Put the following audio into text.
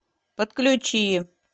подключи